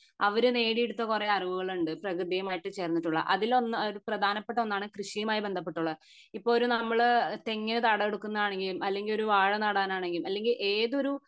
അവർ നേടിയെടുത്ത കൊറേ അറിവുകളുണ്ട് പ്രകൃതിയുമായിട്ട് ചേർന്നിട്ടുള്ള അതിൽ പ്രധാനപ്പെട്ട ഒന്നാണ് കൃഷിയുമായി ബന്ധപ്പെട്ട് ഉള്ളത് ഇപ്പൊ ഒരു നമ്മൾ തെങ്ങിന് തടവെടുക്കുന്നതാണെങ്കിലും അല്ലെങ്കി ഒരു വാഴ നടാൻ ആണെങ്കിലും അല്ലെങ്കി ഏതൊരു